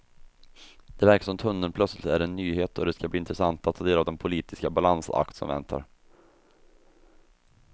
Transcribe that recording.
Det verkar som om tunneln plötsligt är en nyhet och det skall bli intressant att ta del av den politiska balansakt som väntar.